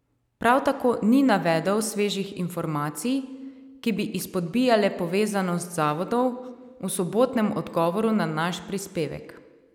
Prav tako ni navedel svežih informacij, ki bi izpodbijale povezanost zavodov, v sobotnem odgovoru na naš prispevek.